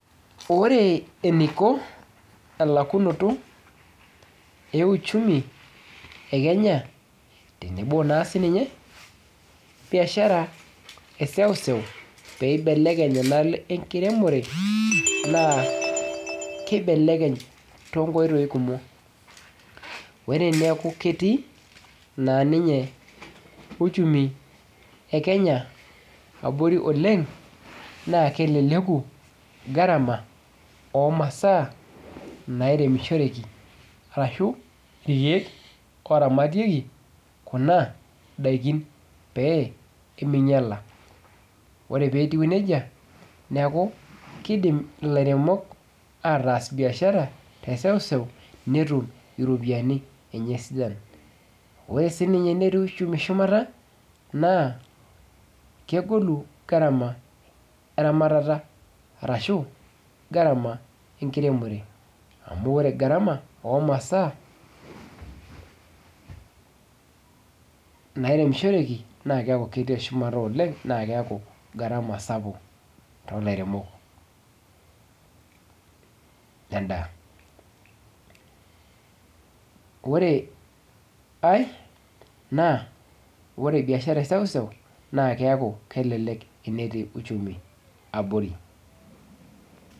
Ore eneiko elakunoto euchumi e Kenya, tenebo naa sininye biashara eneseuseu peeibelekeny enaalo ekiremore naa eibelekeny too nkoitoi kumok, ore eneeku ketii naa ninye uchumi e Kenya abori oleng naa keleleku garama oo masaa nairemishoreki arashu ilkieek ooramatieki kuna daikin peemeinyala, ore peetiu nejia ,neeku keidim ilairemok ataas biashara eseuseu netum iropiyani enye sidan, ore sininye enetii ushumi shumata naa kegolu garama eramata arashu garama ekiremore, amu ore garama oo masaa nairemishoreki naa keeku ketii shumata oleng naa keeku garama sapuk too lairemok ledaa, ore ai naa ore biashara eseuseu naa keeku kelelek enetii uchumi abori.